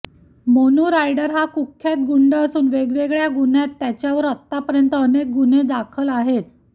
Monu rider हा कुख्यात गुंड असून वेगवेगळ्या गुन्ह्यात त्याच्यावर आतापर्यंत अनेक गुन्हे दाखल आहेत